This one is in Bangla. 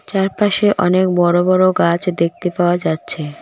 চারপাশে অনেক বড়ো বড়ো গাছ দেখতে পাওয়া যাচ্ছে।